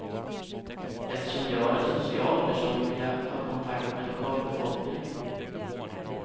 Eftersom jag är en social person vill jag ha kontakt med lokalbefolkningen.